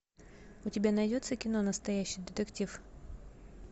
у тебя найдется кино настоящий детектив